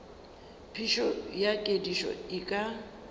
phišo ya kedišo e ka